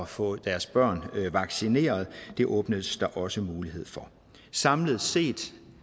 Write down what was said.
få deres børn vaccineret det åbnes der også mulighed for samlet set